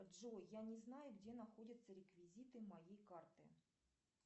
джой я не знаю где находятся реквизиты моей карты